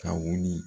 Ka wuli